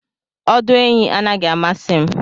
Ọdụ ehi anaghị amasị m